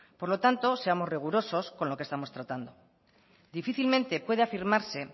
por tanto seamos rigurosos con lo que estamos tratando difícilmente puede afirmarse